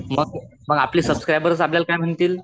मग आपले सुबसकरायबर्स आपल्याला काय म्हणतील?